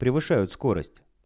превышают скорость